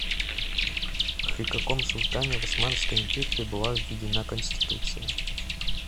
при каком султане в османской империи была введена конституция